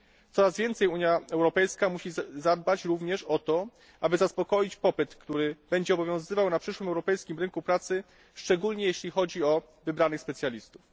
Coraz więcej Unia Europejska musi zadbać również o to, aby zaspokoić popyt, który będzie obowiązywał na przyszłym europejskim rynku pracy, szczególnie jeśli chodzi o wybranych specjalistów.